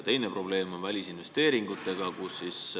Teine probleem on välisinvesteeringutega.